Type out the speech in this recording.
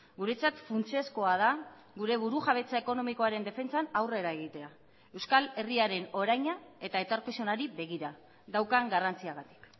guretzat funtsezkoa da gure burujabetza ekonomikoaren defentsan aurrera egitea euskal herriaren oraina eta etorkizunari begira daukan garrantziagatik